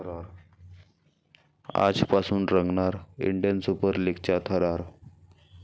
आजपासून रंगणार 'Indian Super लीग'चा थरार